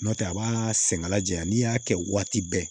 N'o tɛ a b'aa sɛŋɛn la jɛya n'i y'a kɛ waati bɛɛ